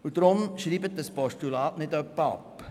Deshalb schreiben Sie bitte dieses Postulat nicht ab.